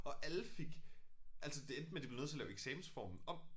Og alle fik altså det endte med de blev nødt til at lave eksamensformen om